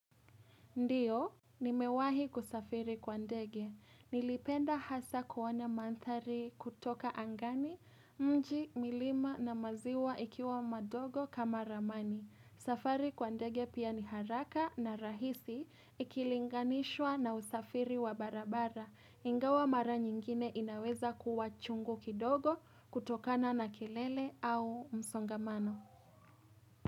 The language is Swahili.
Ndiyo, nimewahi kusafiri kwa ndege. Nilipenda hasa kuona mandhari kutoka angani, mji, milima na maziwa ikiwa madogo kama ramani. Safari kwa ndege pia ni haraka na rahisi ikilinganishwa na usafiri wa barabara. Ingawa mara nyingine inaweza kuwa chungu kidogo kutokana na kelele au msongamano.